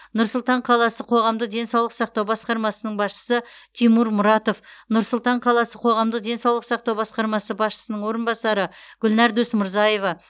нұр сұлтан қаласы қоғамдық денсаулық сақтау басқармасының басшысы тимур мұратов нұр сұлтан қаласы қоғамдық денсаулық сақтау басқармасы басшысының орынбасары гүлнар досмырзаева